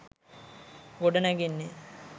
ගොඩ නැගෙන්නේ